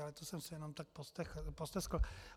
Ale to jsem si jenom tak posteskl.